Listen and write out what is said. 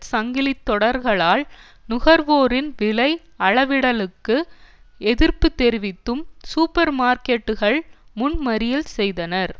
சங்கிலி தொடர்களால் நுகர்வோரின் விலை அளவிடலுக்கு எதிர்ப்பு தெரிவித்தும் சூப்பர் மார்க்கட்டுகள் முன் மறியல் செய்தனர்